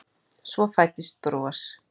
Svo fæddist bros.